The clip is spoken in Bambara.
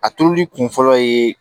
A turuli kun fɔlɔ ye